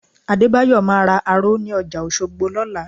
Adébáyọ̀ máa ra aró ní ọjà Òṣogbo lọ́la